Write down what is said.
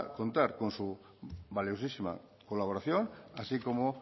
contar con su valiosísima colaboración así como